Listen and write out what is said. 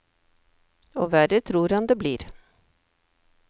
Og verre tror han det blir.